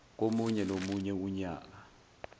komunye nomunye unyaka